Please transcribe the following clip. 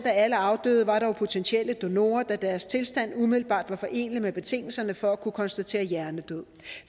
af alle afdøde var dog potentielle donorer da deres tilstand umiddelbart var forenelig med betingelserne for at kunne konstatere hjernedød